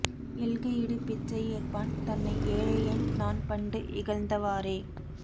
எள்க இடு பிச்சை ஏற்பான் தன்னை ஏழையேன் நான் பண்டு இகழ்ந்தவாறே